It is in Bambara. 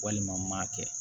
Walima n m'a kɛ